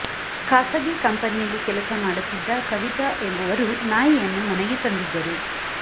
ಖಾಸಗಿ ಕಂಪನಿಯಲ್ಲಿ ಕೆಲಸ ಮಾಡುತ್ತಿದ್ದ ಕವಿತಾ ಎಂಬುವರು ನಾಯಿಯನ್ನು ಮನೆಗೆ ತಂದಿದ್ದರು